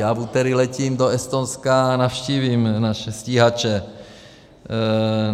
Já v úterý letím do Estonska a navštívím naše stíhače.